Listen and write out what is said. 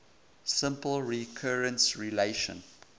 simple recurrence relation